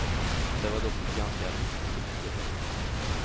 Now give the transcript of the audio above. Det var dock ett ganska riskfritt projekt.